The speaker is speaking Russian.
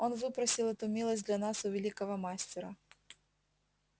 он выпросил эту милость для нас у великого мастера